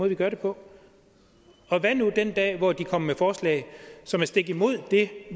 vi gør det på og hvad nu den dag hvor de kommer med forslag som er stik imod det